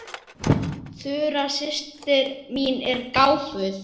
Þura systir mín er gáfuð.